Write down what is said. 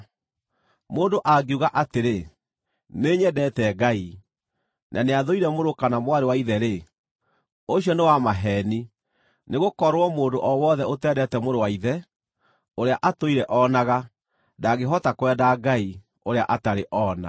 Mũndũ angiuga atĩrĩ, “Nĩnyendete Ngai,” na nĩathũire mũrũ kana mwarĩ wa ithe-rĩ, ũcio nĩ wa maheeni. Nĩgũkorwo mũndũ o wothe ũtendete mũrũ wa ithe, ũrĩa atũire onaga, ndangĩhota kwenda Ngai, ũrĩa atarĩ oona.